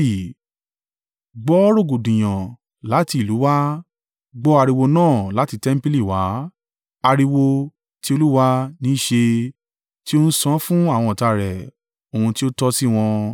Gbọ́ rògbòdìyàn láti ìlú wá, gbọ́ ariwo náà láti tẹmpili wá! Ariwo tí Olúwa ní í ṣe tí ó ń san án fún àwọn ọ̀tá rẹ̀ ohun tí ó tọ́ sí wọn.